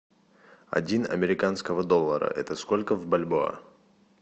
один американского доллара это сколько в бальбоа